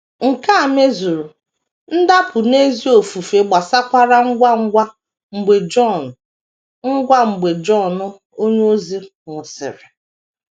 Nke a mezuru, ndapụ n’ezi ofufe gbasakwara ngwa ngwa mgbe Jọn ngwa mgbe Jọn onyeozi nwụsịrị.